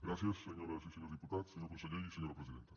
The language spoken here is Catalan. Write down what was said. gràcies senyores i senyors diputats senyor conseller i senyora presidenta